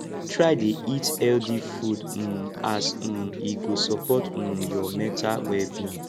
try dey eat healthy food um as um e go sopport um yur mental wellbeing